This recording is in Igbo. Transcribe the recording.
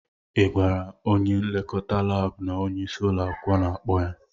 Ị gwara onye nlekọta laabụ na onyeisi ụlọ akwụkwọ na-akpọ ya?